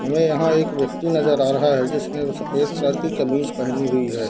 हमे यहाँ एक व्यक्ति नजर आ रहा है जिसने सफ़ेद कलर की कमीज़ पहनी हुई है।